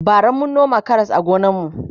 bara mun noma Karas a gonan mu